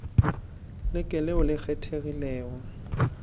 le ke leo le kgethegilego